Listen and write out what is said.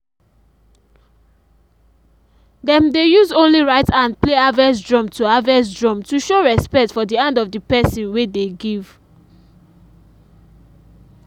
dem dey use only right hand play harvest drum to harvest drum to show respect for the hand of the person wey dey give.